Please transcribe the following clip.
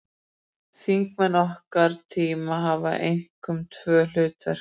Þingmenn okkar tíma hafa einkum tvö hlutverk.